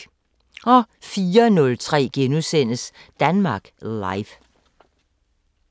04:03: Danmark Live *